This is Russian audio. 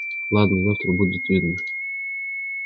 ладно завтра будет видно